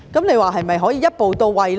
那麼是否可以一步到位呢？